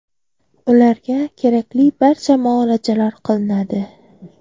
Ularga kerakli barcha muolajalar qilinadi.